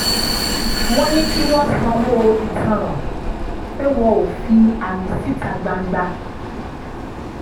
wọ́n ní kí wọ́n sanwó ìtanràn pé wọ́n ò fi àmì síta gbangba